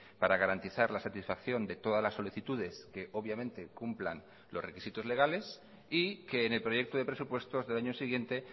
para garantizar la satisfacción de todas las solicitudes que obviamente cumplan los requisitos legales y que en el proyecto de presupuestos del año siguiente